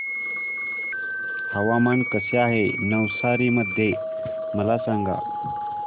हवामान कसे आहे नवसारी मध्ये मला सांगा